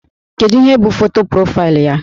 Kedu ihe bụ foto profaịlụ ya?